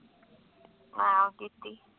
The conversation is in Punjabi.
ਹਾਂ ਕੀਤੀ